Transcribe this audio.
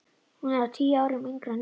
Hún er tíu árum yngri en